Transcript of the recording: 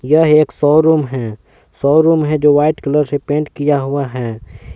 यह एक शोरूम है शोरूम है जो व्हाइट कलर से पेंट किया हुआ है।